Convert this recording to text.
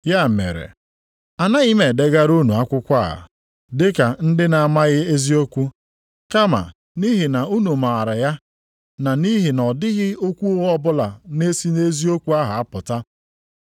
Ya mere, anaghị m edegara unu akwụkwọ a dịka ndị na-amaghị eziokwu kama nʼihi na unu maara ya na nʼihi na ọ dịghị okwu ụgha ọbụla na-esi nʼeziokwu ahụ apụta.